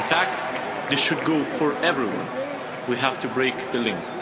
In fact, this should go for everyone. We have to break the link.